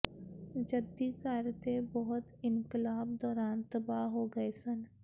ਜੱਦੀ ਘਰ ਦੇ ਬਹੁਤੇ ਇਨਕਲਾਬ ਦੌਰਾਨ ਤਬਾਹ ਹੋ ਗਏ ਸਨ